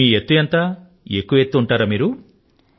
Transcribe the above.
మీ ఎత్తు ఎంత ఎక్కువ ఎత్తు ఉంటారా మీరు